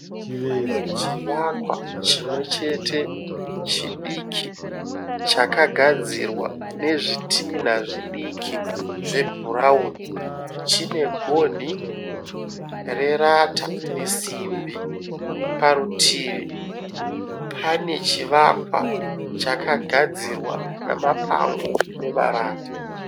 Chivakwa chimwe chete chidiki chakagadzirwa nezvitinha zvidiki zvebhurauni. Chine gonhi rerata nesimbi. Parutivi pane chivakwa chakagadzirwa namapango nemarata.